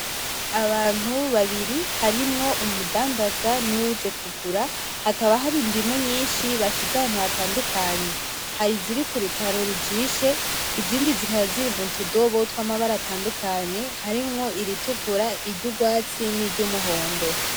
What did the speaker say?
Abantu babiri harimwo umudandaza n'uwuje kugura, hakaba hari indimu nyinshi bashize ahantu hatandukanye , hari iziri ku rutaro rujishe izindi zikaba ziri mutudobo tw'amabara atandukanye harimwo iritukura, iry'urwatsi niry'umuhondo.